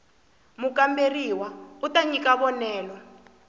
mukamberiwa u ta nyika vonelo